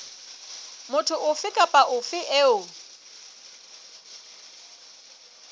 motho ofe kapa ofe eo